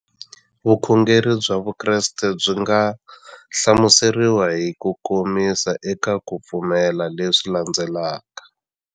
Vukhongeri bya Vukreste byi nga hlamuseriwa hi kukomisa eka ku pfumela leswi landzelaka.